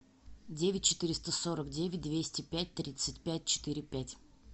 девять четыреста сорок девять двести пять тридцать пять четыре пять